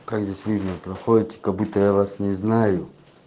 как здесь видно проходите как будто я вас не знаю